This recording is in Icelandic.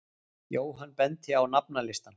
Jóhann benti á nafnalistann.